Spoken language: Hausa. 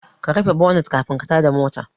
Ka rufe bonat kafin ka tada mota